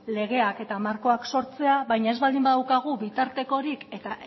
legeak eta markoak sortzea baina ez baldin badaukagu bitartekorik eta